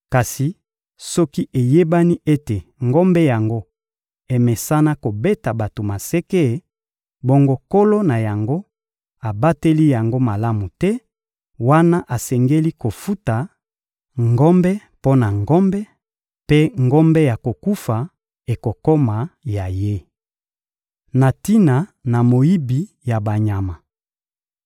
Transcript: Kasi soki eyebani ete ngombe yango emesana kobeta bato maseke, bongo nkolo na yango abateli yango malamu te; wana asengeli kofuta ngombe mpo na ngombe, mpe ngombe ya kokufa ekokoma ya ye. Na tina na moyibi ya banyama